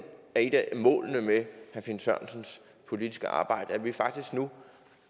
af målene med herre finn sørensens politiske arbejde at vi faktisk nu